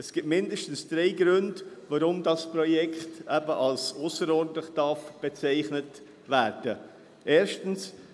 Es gibt mindestens drei Gründe, weshalb dieses Projekt als ausserordentlich bezeichnet werden darf.